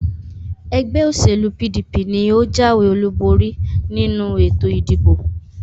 Ẹgbẹ́ òṣèlú PDP ni ó jáwé olúborí nínú ètò ìdìbò